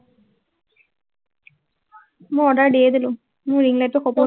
মই order দিয়ে দিলো। মোৰ টো সপোন।